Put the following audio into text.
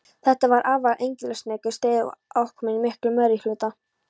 Þetta var afar engilsaxneskur staður og aðkomumenn í miklum meirihluta.